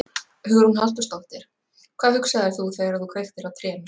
Hugrún Halldórsdóttir: Hvað hugsaðir þú þegar þú kveiktir á trénu?